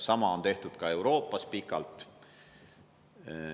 Sama on tehtud ka Euroopas pikalt.